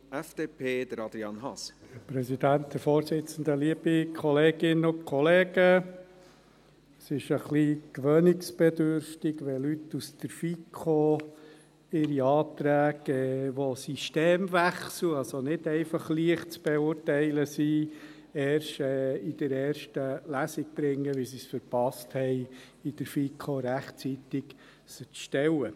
Es ist etwas gewöhnungsbedürftig, wenn Leute aus der FiKo ihre Anträge auf Systemwechsel, die also nicht leicht zu beurteilen sind, erst in der ersten Lesung bringen, weil sie es verpasst haben, sie in der FiKo rechtzeitig zu stellen.